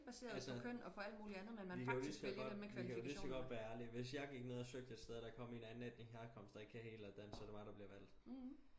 Altså vi kan jo ligeså godt vi kan ligeså godt være ærlige hvis jeg gik ned og søgte et sted og der kom en andenetnisk herkomst og ikke kunne helt dansk så det mig der bliver valgt